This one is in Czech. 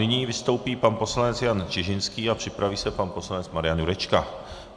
Nyní vystoupí pan poslanec Jan Čižinský a připraví se pan poslanec Marian Jurečka.